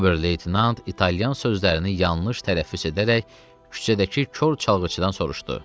Ober-leytenant İtalyan sözlərini yanlış tələffüz edərək küçədəki kor çalğıçıdan soruşdu.